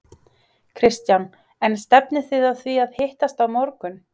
Kristján: En stefnið þið að því að hittast á morgun?